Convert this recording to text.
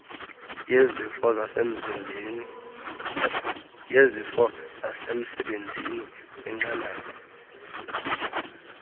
yezifo zasemsebenzini kwinqanaba